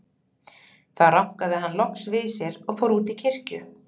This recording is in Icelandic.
Þá rankaði hann loks við sér og fór út í kirkju.